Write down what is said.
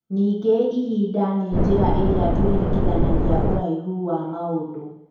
Ningĩ ihinda nĩ njĩra ĩrĩa tũringithanagia ũraihu wa maũndũ.